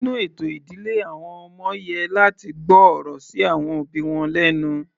Nínú ètò ìdílé àwọn ọmọ yẹ láti gbọ́ ọ̀rọ̀ sí àwọn òbí wọn lẹ́nu.